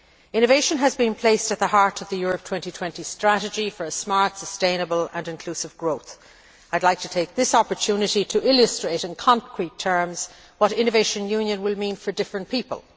Innovation has been placed at the heart of the Europe 2020 strategy for smart, sustainable and inclusive growth. I would like to take this opportunity to illustrate in concrete terms what Innovation Union will mean for different people.